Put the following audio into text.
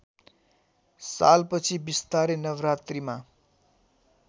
सालपछि बिस्तारै नवरात्रिमा